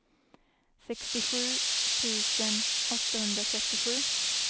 sextiosju tusen åttahundratrettiosju